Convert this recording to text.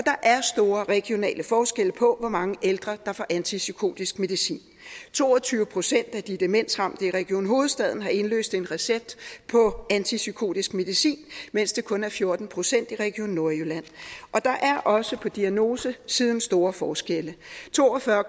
er store regionale forskelle på hvor mange ældre der får antipsykotisk medicin to og tyve procent af de demensramte i region hovedstaden har indløst en recept på antipsykotisk medicin mens det kun er fjorten procent i region nordjylland der er også på diagnosesiden store forskelle to og fyrre